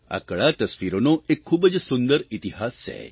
આ કળા તસ્વીરોનો એક ખૂબ જ સુંદર ઇતિહાસ છે